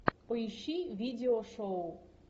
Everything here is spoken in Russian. поищи видео шоу